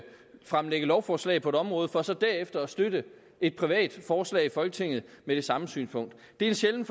fremsætte lovforslag på et område for så derefter at støtte et privat forslag i folketinget med det samme synspunkt det er en sjælden